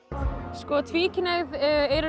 sko tvíkynhneigð er